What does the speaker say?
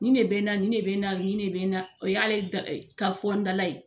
Nin de bɛ n na nin de bɛ n na o y'ale da ka fɔ n dala ye.